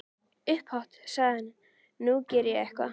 Upphátt sagði hann:- Nú geri ég eitthvað.